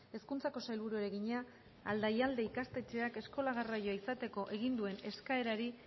hezkuntzako sailburuari egina aldaialde ikastetxeak eskola garraioa izateko egin duen eskaerari